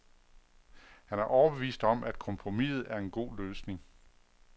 Han er overbevist om, at kompromiset er en god løsning.